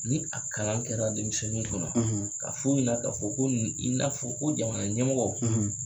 Ni a kalan kɛra denmisɛnninu kuna ka f'u ɲɛna ka fɔ ko ninnu i n'a fɔ ko jamana ɲɛmɔgɔ